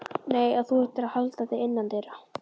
Nei, og þú ættir að halda þig innandyra.